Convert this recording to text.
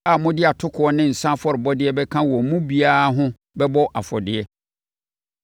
a mode atokoɔ ne nsã afɔrebɔdeɛ bɛka wɔn mu biara ho bɛbɔ afɔdeɛ.